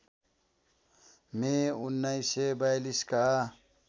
मे १९४२ का